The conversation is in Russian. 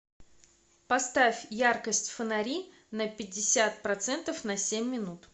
поставь яркость фонари на пятьдесят процентов на семь минут